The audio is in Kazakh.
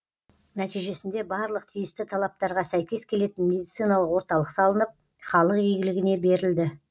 нәтижесінде барлық тиісті талаптарға сәйкес келетін медициналық орталық салынып халық игілігіне берілді